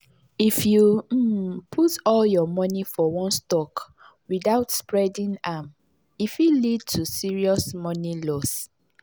if you um put all your money for one stock without spreading am e fit lead to serious money loss.